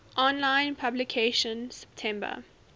online publication september